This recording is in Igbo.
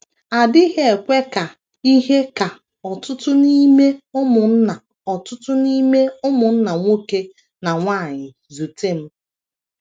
A dịghị ekwe ka ihe ka ọtụtụ n’ime ụmụnna ọtụtụ n’ime ụmụnna nwoke na nwanyị zute m.